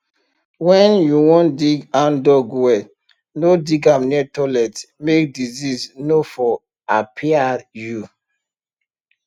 when you won dig handdug well no dig am near toilet make disease nor for apiai you